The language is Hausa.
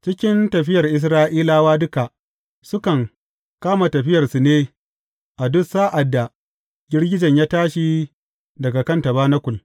Cikin tafiyar Isra’ilawa duka, sukan kama tafiyarsu ne a duk sa’ad da girgijen ya tashi daga kan tabanakul.